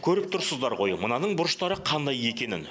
көріп тұрсыздар ғой мынаның бұрыштары қандай екенін